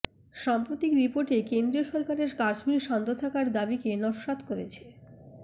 সাম্প্রতিক রিপোর্টে কেন্দ্রীয় সরকারের কাশ্মীর শান্ত থাকার দাবিকে নস্যাৎ করেছে